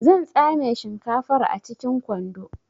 Zan tsame shinkafar a cikin kwando